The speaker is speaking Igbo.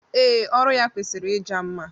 Ee, ọrụ ya kwesịrị ịja mma.